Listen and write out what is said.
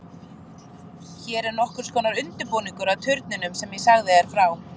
Hún er nokkurs konar undirbúningur að turninum sem ég sagði þér frá.